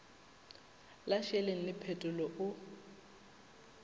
la šeleng le phetolo o